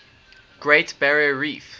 great barrier reef